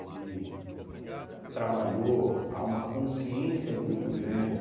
Ele trabalhou a uma consciência muito grande